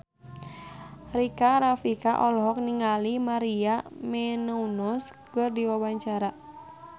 Rika Rafika olohok ningali Maria Menounos keur diwawancara